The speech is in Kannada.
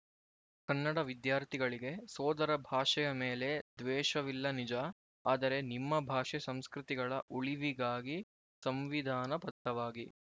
ಕನ್ನಡ ವಿದ್ಯಾರ್ಥಿಗಳಿಗೆ ಸೋದರ ಭಾಷೆಯ ಮೇಲೆ ದ್ವೇಷವಿಲ್ಲ ನಿಜ ಆದರೆ ನಿಮ್ಮ ಭಾಷೆ ಸಂಸ್ಕೃತಿಗಳ ಉಳಿವಿಗಾಗಿ ಸಂವಿಧಾನಬದ್ಧವಾಗಿ